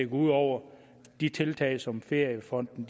ud over de tiltag som feriefonden